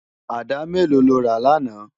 Àdá méló ló rá làná?